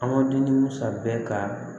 An ma di ni masa bɛɛ ka